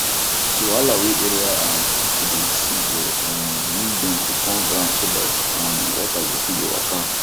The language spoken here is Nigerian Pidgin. the wahala wey area um people dey see go um need dem to turn ground so that um water go fit dey waka